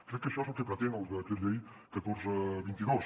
crec que això és el que pretén el decret llei catorze dos mil vint dos